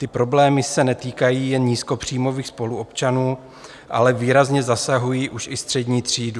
Ty problémy se netýkají jen nízkopříjmových spoluobčanů, ale výrazně zasahují už i střední třídu.